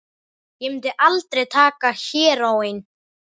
Ég mundi aldrei taka heróín.